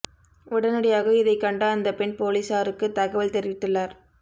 உடனடியாக இதைக் கண்ட அந்த பெண் பொலிசாருக்கு தகவல் தெரிவித்துள்ளார்